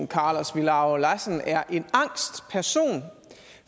carlos villaro lassen er en angst person